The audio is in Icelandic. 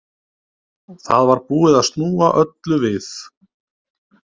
Það var búið að snúa öllu við.